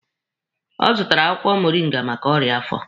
Ọ zụtara akwụkwọ moringa maka ọrịa afọ.